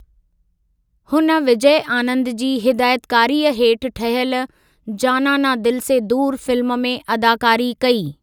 हुन विजय आनंद जी हिदायतकारीअ हेठि ठहियल ‘जाना ना दिल से दूर’ फिल्म में अदाकारी कई।